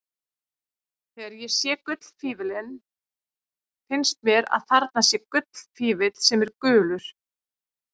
Þegar ég sé gullfífillinn finnst mér að þarna sé gullfífill sem er gulur.